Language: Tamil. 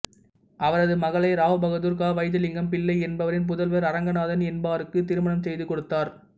அவரது மகளை ராவ்பகதூர் க வைத்தியலிங்கம் பிள்ளை என்பவரின் புதல்வர் அரங்கநாதன் என்பாருக்குத் திருமணம் செய்து கொடுத்தார்